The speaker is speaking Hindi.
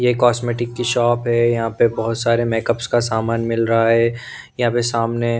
यह कॉस्मेटिक की शॉप है यहां पे बहोत सारे मेकअप्स का सामान मिल रहा है यहां पे सामने--